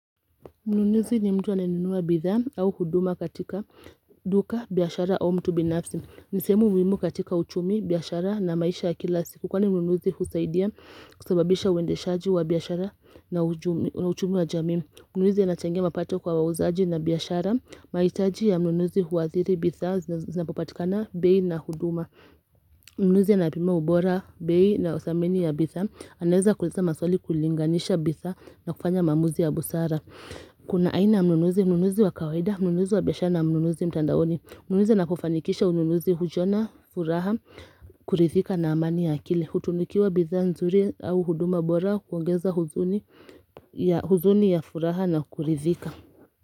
Mnunuzi ni mtu anayenunua bidhaa au huduma katika duka, biashara au mtu binafsi. Ni sehemu muhimu katika uchumi, biashara na maisha ya kila siku. Kwani mnunuzi husaidia kusababisha uendeshaji wa biashara na uchumi wa jamii. Mnunuzi anachangia mapato kwa wauzaji na biashara. Mahitaji ya mnunuzi huadhiri bidhaa zinapopatikana bei na huduma. Mnunuzi ya anapima ubora bei na udhamini ya bidhaa anaweza kuuliza maswali kulinganisha bidhaa na kufanya maamuzi ya busara. Kuna aina ya mnunuzi, mnunuzi wa kawaida, mnunuzi wa biashara na mnunuzi mtandaoni Mnunuzi anapofanikisha ununuzi hujiona, furaha, kurithika na amani ya akili Hutunukiwa bidhaa nzuri au huduma bora kuongeza uzuni ya furaha na kurithika.